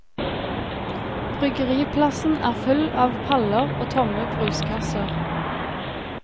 Bryggeriplassen er full av paller og tomme bruskasser.